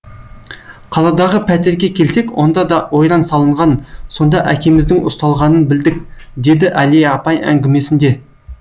қаладағы пәтерге келсек онда да ойран салынған сонда әкеміздің ұсталғанын білдік деді әлия апай әңгімесінде